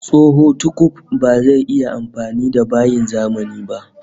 Tsoho tukuf bazai iya amfani da bayin zamani ba